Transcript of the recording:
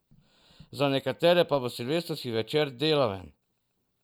Za nekatere pa bo silvestrski večer deloven.